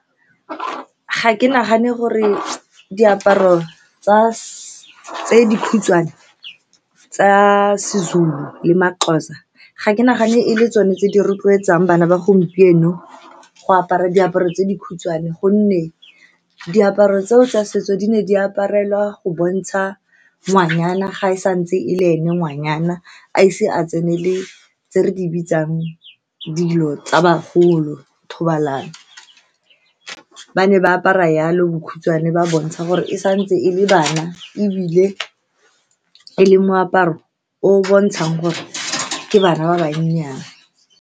Ga ke nagane gore diaparo tsa tse dikhutshwane tsa seZulu le maXhosa, ga ke nagane e le tsone tse di rotloetsang bana ba gompieno go apara diaparo tse dikhutshwane, ka gonne diaparo tseo tsa setso di ne di aparelwa go bontsha ngwanyana, fa e santse e le ene ngwanyana, a ise a tsenele tse re di bitsang dilo tsa bagolo thobalano. Ba ne ba apara jalo, bokhutshwane bo bontsha gore e santse e le bana, ebile e le moaparo o o bontshang gore ke bana ba bannyane.